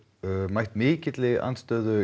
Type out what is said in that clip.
mætt mikilli andstöðu